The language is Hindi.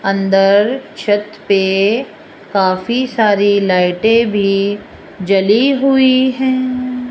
अंदर छत पे काफी सारी लाइटे भी जली हुई हैं।